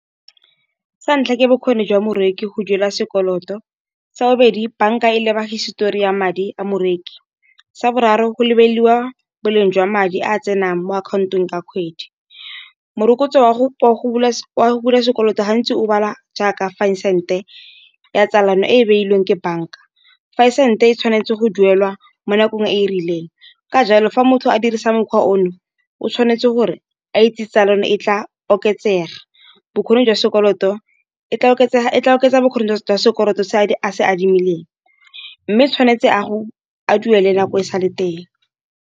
Sa ntlha ke bokgoni jwa moreki go duela sekoloto. Sa bobedi bank-a e leba hisetori ya madi a moreki. Sa boraro go lebelelwa boleng jwa madi a tsenang mo akhaontong ka kgwedi. Morokotso wa go bula sekoloto gantsi o balwa jaaka thousand e ya tsalano, e e beilweng ke bank-a fa sente e tshwanetse go duelwa mo nakong e e rileng. Ka jalo fa motho a dirisa mokgwa ono o tshwanetse gore a itse tsa le yone e tla oketsega. Bokgoni jwa sekoloto e tla oketsa e tla oketsa bokgoni jwa sekoloto se a se adimileng, mme tshwanetse a duele nako e sa le teng.